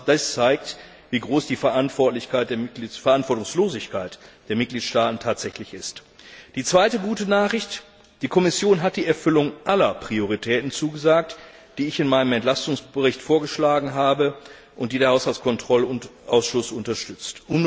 Das zeigt, wie groß die Verantwortungslosigkeit der Mitgliedstaaten tatsächlich ist. Die zweite gute Nachricht Die Kommission hat die Erfüllung aller Prioritäten zugesagt, die ich in meinem Entlastungsbericht vorgeschlagen habe und die der Haushaltskontrollausschuss unterstützt.